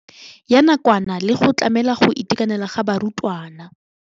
Ya nakwana le go tlamela go itekanela ga barutwana.